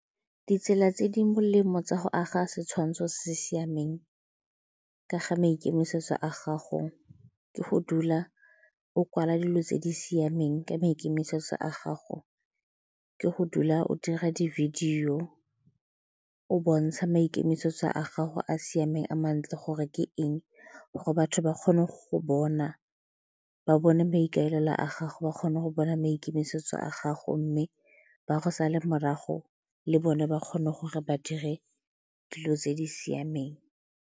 Ditsela tse di molemo tsa go aga setshwantsho se se siameng ka ga maikemisetso a gago ke go dula o kwala dilo tse di siameng ka maikemisetso a gago, ke go dula o dira di-video o bontsha maikemisetso a gago a siameng a mantle gore ke eng gore batho ba kgone go bona, ba bone maikaelelo a gago, ba kgone go bona maikemisetso a gago mme ba go sala morago le bone ba kgone gore ba dire dilo tse di siameng.